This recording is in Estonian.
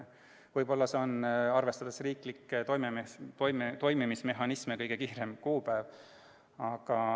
Võib-olla see oligi riiklikke toimimismehhanisme arvestades kõige varasem kuupäev.